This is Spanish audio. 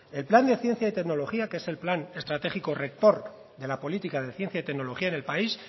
el plan de ciencia y tecnología que es el plan estratégico rector de la política de ciencia y tecnología en el país